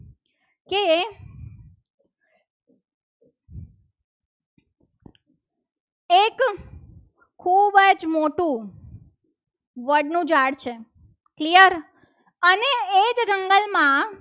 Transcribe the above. એક મોટું વડનું ઝાડ છે. clear અને એ જ જંગલમાં